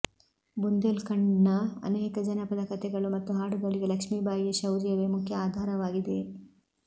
ಬುಂದೇಲ್ಖಂಡ್ನ ಅನೇಕ ಜನಪದ ಕತೆಗಳು ಮತ್ತು ಹಾಡುಗಳಿಗೆ ಲಕ್ಷ್ಮೀಬಾಯಿಯ ಶೌರ್ಯವೇ ಮುಖ್ಯ ಆಧಾರವಾಗಿದೆ